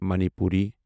Manipuri